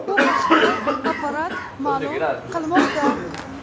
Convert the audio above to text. Bu haqda Apparat ma’lum qilmoqda .